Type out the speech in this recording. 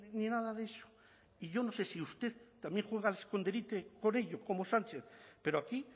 ni nada de eso y yo no sé si usted también juega al escondite con ello como sánchez pero aquí